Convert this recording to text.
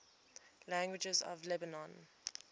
languages of lebanon